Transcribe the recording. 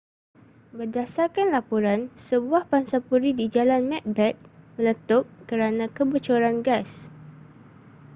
berdasarkan laporan sebuah pangsapuri di jalan macbeth meletup kerana kebocoran gas